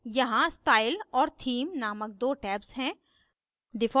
यहाँ स्टाइल और theme नामक दो tabs हैं